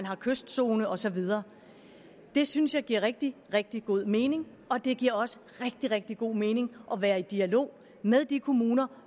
er kystzone og så videre det synes jeg giver rigtig rigtig god mening og det giver også rigtig rigtig god mening at være i dialog med de kommuner